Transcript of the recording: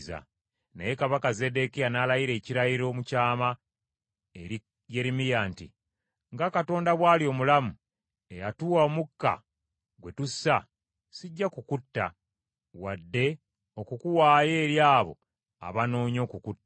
Naye kabaka Zeddekiya n’alayira ekirayiro mu kyama eri Yeremiya nti, “Nga Katonda bw’ali omulamu, eyatuwa omukka gwe tussa, sijja kukutta wadde okukuwaayo eri abo abanoonya okukutta.”